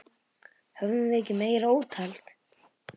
Höfðum við ekki meira úthald?